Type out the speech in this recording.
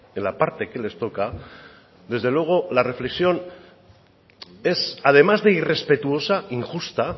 la parte que les toca desde luego es además de irrespetuosa injusta